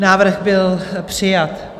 Návrh byl přijat.